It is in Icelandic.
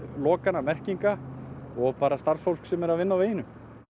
lokana og merkinga og starfsfólks sem er að vinna á veginum